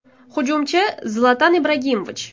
Hujumchi : Zlatan Ibragimovich.